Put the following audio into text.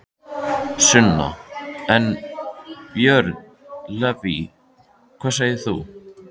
Sunna: En, Björn Leví, hvað segir þú?